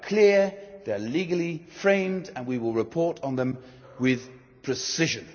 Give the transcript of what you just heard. They are clear, they are legally framed, and we will report on them with precision.